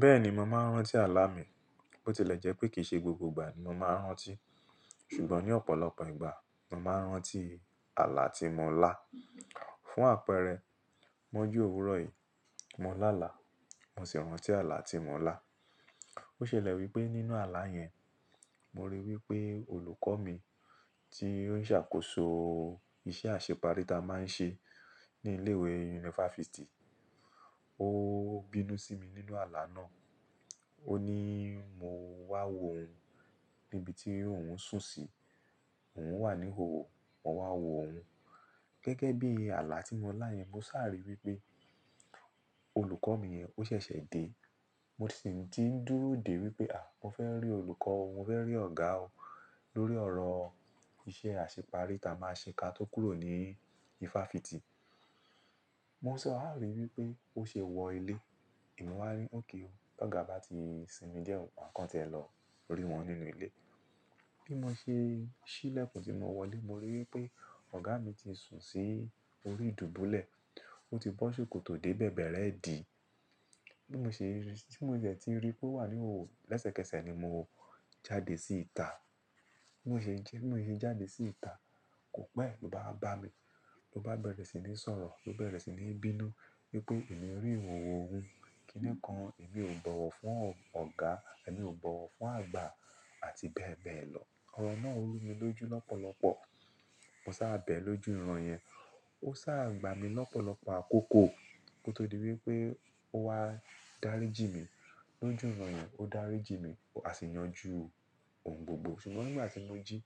Bẹ́ẹ̀ni, mo máa ń rántí àlá mi. Bo ti lè jẹ́ pé kì í ṣe gbogbo ìgbà ni mo máa ń rántí. Ṣùgbọ́n ní ọ̀pọ̀lọpọ̀ ìgbà, mo máa ń rántí àlá tí mo lá. Fún àpẹẹrẹ, mọ́jú òwúrọ̀ yìí, mo lá àlá, mo sì rántí àlá tí mo lá. Ó ṣẹlẹ̀ wípé nínú àlá yẹn, mo ríi wípé olùkọ́ mi tí ó ń ṣàkóso iṣẹ́ àṣepari ta máa ń ṣe ní ilé ìwé yunifásítì, ó bínú sí mi nínú àlá náà. Ó ní mo wá wò óun níbi tí òun ń sùn sí. Òun wà ní ìhòòhò, mo wá wò óun. Gẹ́gẹ́ bí àlá tí mo lá yẹn, mo sáà rí wípé, olùkọ́ mi yẹn ò ṣẹ̀ṣẹ̀ dé. Mo sì ti ń dúró dè wípé, à! Mo fẹ́ rí olùkọ́ o, mo fẹ́ rí ọ̀gá o, lórí ọ̀rọ̀ iṣẹ́ àṣepari ta máa ń ṣe ká tó kúrò ní ifáfitì. Mo sáà ríi wípé ó ṣe wọ ilé. Èmi wá ni, "Okay o. Rí ọ̀gá bá ti sinmi díẹ̀, màá kàn tí ẹ lọ rí wọn nínú ilé." Bí mo ṣe ṣí ilẹ́kùn tí mo wọ ilé, mo ríi wípé ọ̀gá mi ti sùn sí orí ìdùbúlẹ̀. Ó ti bọ́ ṣòkòtò dé bẹ̀bẹ̀rẹ́ ìdí. Bí mo ṣe rí i, tí mo dẹ̀ ti ríi pé ó wà ní ìhòhò, lẹ́sẹ̀kẹsẹ̀ ni mo jáde sí ìta. Bí mo ṣe ń jẹ́, bí mo ṣe jáde sí ìta, kò pẹ́, l'ó bá wa bá mi. Ó bá bẹ̀rẹ̀ sí ní sọ̀rọ̀, ó bẹ̀rẹ̀ sí ní bínú wípé èmi rí ìhòhò òun, kíni kan èmi ò bọ̀wọ̀ fún ọ̀gá, èmi ò bọ̀wọ̀ fún àgbà àti bẹ́ẹ̀ bẹ́ẹ̀ lọ. Ọ̀rọ̀ náà rú mi lójú lọ́pọ̀lọpọ̀. Mo sá à bẹ̀ẹ̀ lójú ìran yẹn. Ó sá à gbà mi lọ́pọ̀lọpọ̀ àkókò, kó tó di wípé ó wá dáríjì mí. Lójú ìran yẹn, ó dáríjì mí, a sì yanjú òun gbogbo. Ṣùgbọ́n nígbà tí mo jí,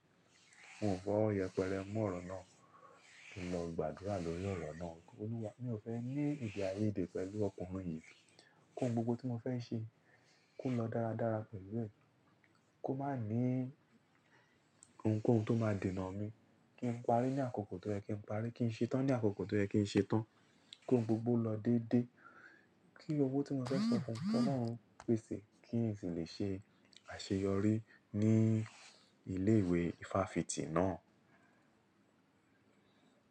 mi ò fi ọwọ́ yẹpẹrẹ mú ọ̀rọ̀ náà, mo lọ gbàdúrà lórí ọ̀rọ̀ náà pé, "Olúwa, mi ò fẹ́ ní èdè àìyédè pẹ̀lú ọkùnrin yìí. Kí ohun gbogbo tí mo fẹ́ ṣe. Kó lọ dáradára pẹ̀lú ẹ̀. Kí ó má ní ohun kóhun tó máa dènà mi kí n parí ní àkókò tó yẹ, kí n parí. Kí n ṣe tán ní àkókò tó yẹ, kí n ṣe tán. Kóhun gbogbo lọ dédé. Kí owó tí mo fẹ́ san fún, kí Olóhun pèsè kí n sì lè ṣe àṣeyọrí ní ilé ìwé ifáfitì náà."